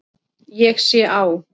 Ég sé á